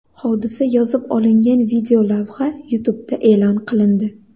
Hodisa yozib olingan videolavha YouTube’da e’lon qilindi .